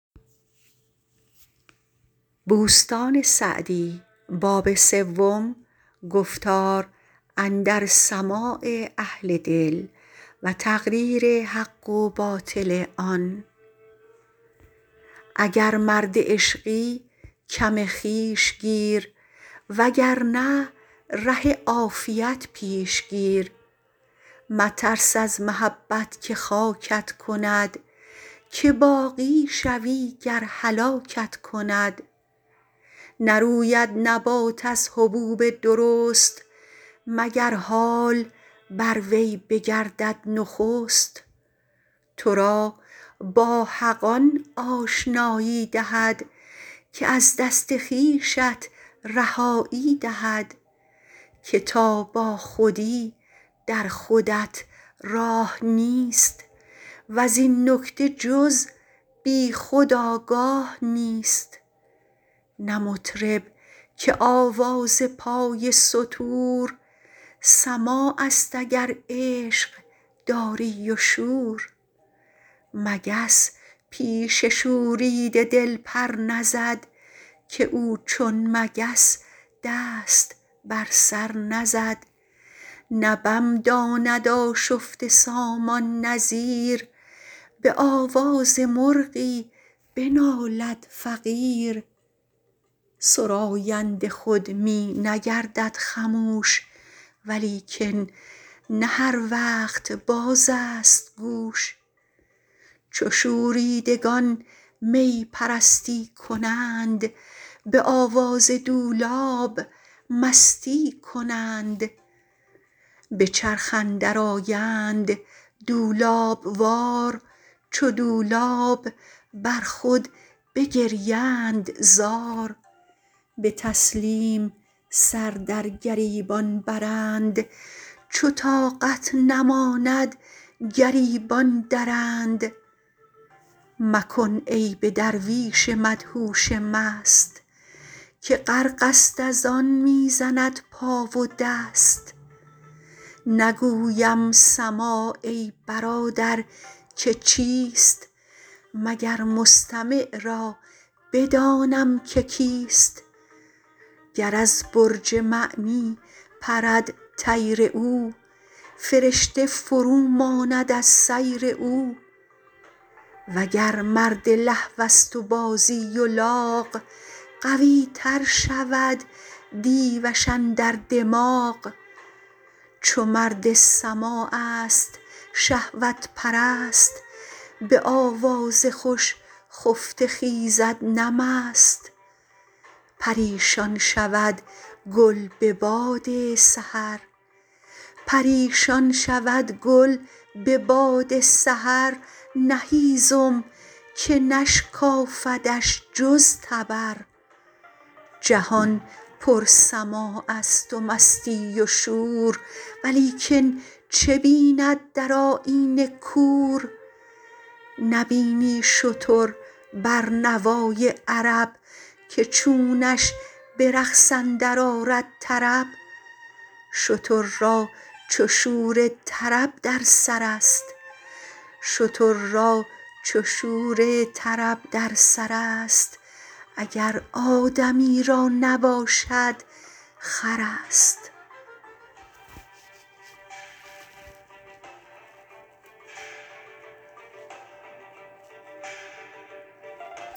اگر مرد عشقی کم خویش گیر و گر نه ره عافیت پیش گیر مترس از محبت که خاکت کند که باقی شوی گر هلاکت کند نروید نبات از حبوب درست مگر حال بر وی بگردد نخست تو را با حق آن آشنایی دهد که از دست خویشت رهایی دهد که تا با خودی در خودت راه نیست وز این نکته جز بی خود آگاه نیست نه مطرب که آواز پای ستور سماع است اگر عشق داری و شور مگس پیش شوریده دل پر نزد که او چون مگس دست بر سر نزد نه بم داند آشفته سامان نه زیر به آواز مرغی بنالد فقیر سراینده خود می نگردد خموش ولیکن نه هر وقت باز است گوش چو شوریدگان می پرستی کنند به آواز دولاب مستی کنند به چرخ اندر آیند دولاب وار چو دولاب بر خود بگریند زار به تسلیم سر در گریبان برند چو طاقت نماند گریبان درند مکن عیب درویش مدهوش مست که غرق است از آن می زند پا و دست نگویم سماع ای برادر که چیست مگر مستمع را بدانم که کیست گر از برج معنی پرد طیر او فرشته فرو ماند از سیر او وگر مرد لهو است و بازی و لاغ قوی تر شود دیوش اندر دماغ چو مرد سماع است شهوت پرست به آواز خوش خفته خیزد نه مست پریشان شود گل به باد سحر نه هیزم که نشکافدش جز تبر جهان پر سماع است و مستی و شور ولیکن چه بیند در آیینه کور نبینی شتر بر نوای عرب که چونش به رقص اندر آرد طرب شتر را چو شور طرب در سر است اگر آدمی را نباشد خر است